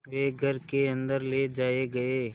वे घर के अन्दर ले जाए गए